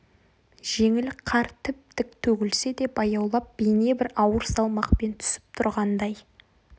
жеңіл қар тіп-тік төгілсе де баяулап бейне бір ауыр салмақпен түсіп тұрғандай